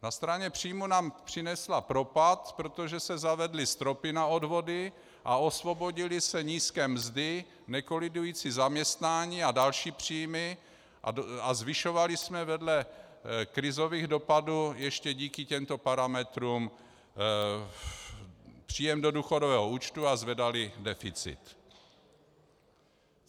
Na straně příjmů nám přinesla propad, protože se zavedly stropy na odvody a osvobodily se nízké mzdy, nekolidující zaměstnání a další příjmy a zvyšovali jsme vedle krizových dopadů ještě díky těmto parametrům příjem do důchodového účtu a zvedali deficit.